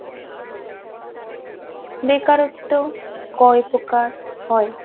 বেকারত্ব কয় প্রকার হয়